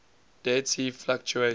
dead sea fluctuates